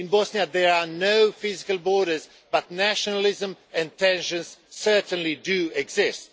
In Bosnia there are no physical borders, but nationalism and tensions certainly do exist.